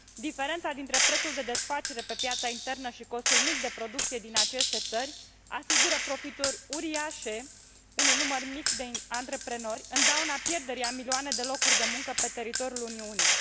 Diferența dintre prețul de desfacere pe piața internă și costul mic de producție din aceste țări asigură profituri uriașe unui număr mic de antreprenori, în dauna pierderii a milioane de locuri de muncă pe teritoriul Uniunii.